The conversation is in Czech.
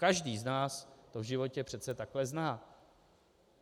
Každý z nás to v životě přece takhle zná.